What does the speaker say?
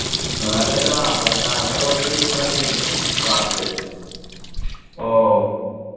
വേറെ ഇതാ അപർണ അങ്ങനെ കുറച്ചു friends ഉണ്ട് class ത്തെ